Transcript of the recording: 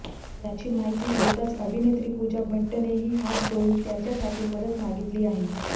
याची माहिती होताच अभिनेत्री पूजा भट्टनेही हात जोडून त्याच्यासाठी मदत मागितली आहे